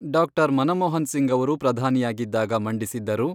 ಡಾ. ಮನಮೋಹನ್ ಸಿಂಗ್ ಅವರು ಪ್ರಧಾನಿಯಾಗಿದ್ದಾಗ ಮಂಡಿಸಿದ್ದರು.